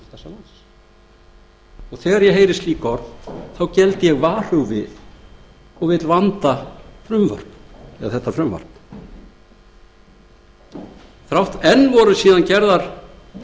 réttarfarssérfræðingum landsins þegar ég heyri slík orð geld ég varhuga við og vil vanda þetta frumvarp enn voru gerðar